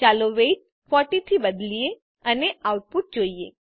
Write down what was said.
ચાલો વેઇટ 40 થી બદલીએ અને આઉટપુટ જોઈએ